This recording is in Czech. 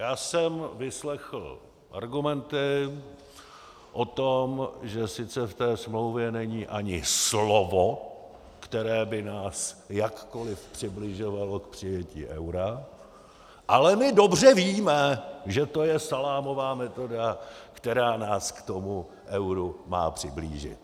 "Já jsem vyslechl argumenty o tom, že sice v té smlouvě není ani slovo, které by nás jakkoli přibližovalo k přijetí eura, ale my dobře víme, že to je salámová metoda, která nás k tomu euru má přiblížit..."